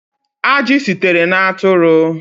Ajị sitere na atụrụ